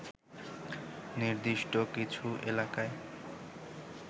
নির্দিষ্ট কিছু এলাকায়